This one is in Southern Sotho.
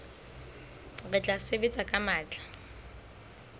re tla sebetsa ka matla